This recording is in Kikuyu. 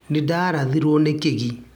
nindarathiro nĩ kĩgi.